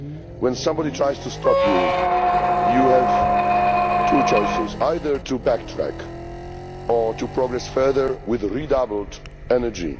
When somebody tries to stop you, you have two choices either to backtrack or to progress further with redoubled energy.